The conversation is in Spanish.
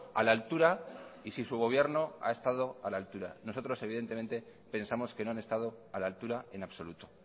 a la altura y si su gobierno ha estado a la altura nosotros evidentemente pensamos que no han estado a la altura en absoluto